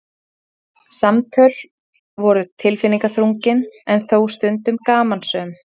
Samtöl voru tilfinningaþrungin en þó stundum gamansöm.